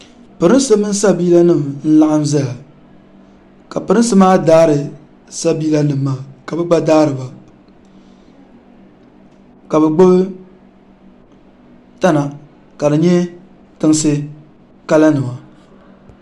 pirinsi mini sabiila nim n laɣam ʒɛya ka pirinsi maa daari sabiila nim maa ka bi gba daariba ka bi gbubi tana ka di nyɛ tinsi kala nima